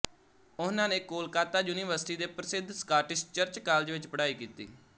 ਉਹਨਾਂ ਨੇ ਕੋਲਕਾਤਾ ਯੂਨੀਵਰਸਿਟੀ ਦੇ ਪ੍ਰਸਿਧ ਸਕਾਟਿਸ਼ ਚਰਚ ਕਾਲਜ ਵਿੱਚ ਪੜ੍ਹਾਈ ਕੀਤੀ